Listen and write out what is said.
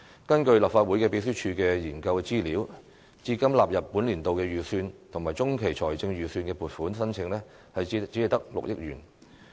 根據立法會秘書處的研究資料，至今納入本年度預算及中期財政預測的撥款申請只有6億元。